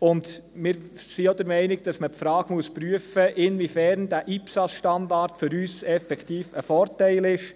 und wir sind auch der Meinung, dass man die Frage prüfen muss, inwiefern dieser IPSAS-Standard für uns effektiv ein Vorteil ist.